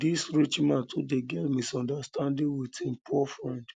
dis rich man too dey get misunderstanding wit im poor friend